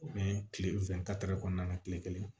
O ni tile fɛn kɔnɔna na kile kelen